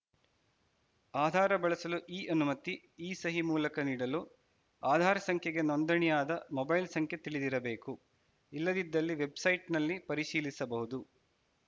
ಆಧಾರ ಬಳಸಲು ಇಅನುಮತಿ ಇಸಹಿ ಮೂಲಕ ನೀಡಲು ಆಧಾರ್‌ ಸಂಖ್ಯೆಗೆ ನೋಂದಣಿಯಾದ ಮೊಬೈಲ್‌ ಸಂಖ್ಯೆ ತಿಳಿದಿರಬೇಕು ಇಲ್ಲದಿದ್ದಲ್ಲಿ ವೆಬ್‌ಸೈಟ್‌ನಲ್ಲಿ ಪರಿಶೀಲಿಸಬಹುದು